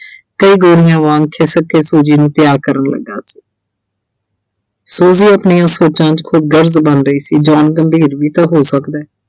ਤੇ ਗੋਰਿਆਂ ਵਾਂਗ ਖਿਸਕ ਕੇ Suji ਨੂੰ ਪਿਆਰ ਕਰਨ ਲੱਗਾ ਸੀ Suji ਆਪਣੀਆਂ ਸੋਚਾਂ 'ਚ ਖੁਦ ਗਲਤ ਬਣ ਰਹੀ ਸੀ John ਗੰਭੀਰ ਵੀ ਤਾਂ ਹੋ ਸਕਦੈ